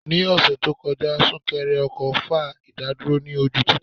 Ní ọ̀sẹ̀ tó kọjá, súnkẹrẹ ọkọ̀ fa ìdádúró ní ojú títì.